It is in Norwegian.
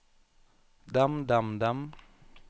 dem dem dem